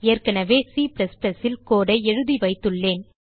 ஏற்கனவே Cல் கோடு ஐ எழுதிவைத்துள்ளேன்